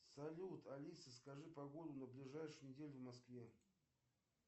салют алиса скажи погоду на ближайшую неделю в москве